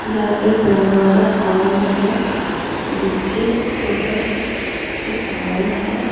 यह एक रजवाड़ा फार्म है जिसके ऊपर एक वॉल है।